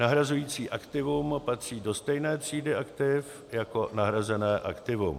nahrazující aktivum patří do stejné třídy aktiv jako nahrazené aktivum;